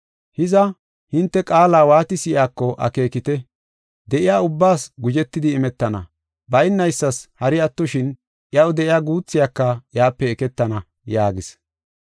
“Hiza, hinte qaala waati si7iyako akeekite. De7iya ubbaas guzhetidi imetana, baynaysas hari attoshin iyaw de7iya guuthiyaka iyape eketana” yaagis.